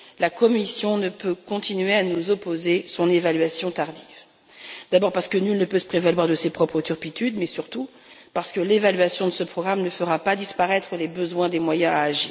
La Commission ne peut continuer à nous opposer son évaluation tardive, d'abord parce que nul ne peut se prévaloir de ses propres turpitudes, mais surtout parce que l'évaluation de ce programme ne fera pas disparaître les besoins en moyens d'action.